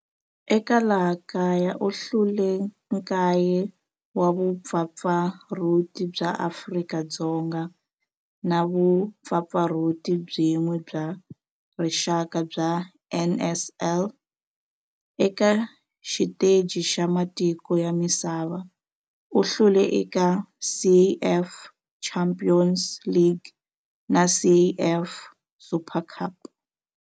Eka laha kaya u hlule 9 wa vumpfampfarhuti bya Afrika-Dzonga na vumpfampfarhuti byin'we bya rixaka bya NSL. Eka xiteji xa matiko ya misava, u hlule eka CAF Champions League na CAF Super Cup.